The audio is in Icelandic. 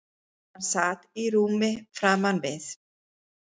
Hann sat í rúmi framan við